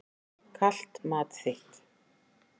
Kalt mat þitt.